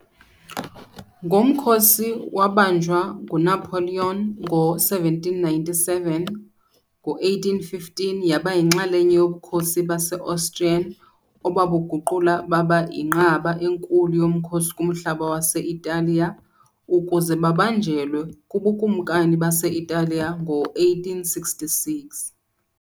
Ngomkhosi wabanjwa nguNapoleon ngo-1797, ngo-1815 yaba yinxalenye yoBukhosi base-Austrian obabuguqula baba yinqaba enkulu yomkhosi kumhlaba wase-Italiya, ukuze babanjelwe kuBukumkani base-Italiya ngo-1866.